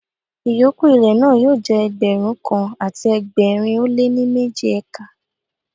Ìyókù ilẹ̀ náà yóò jẹ́ Ẹgbẹ̀rún kan àti ẹgbẹ̀rin ó lé ní méjì ékà.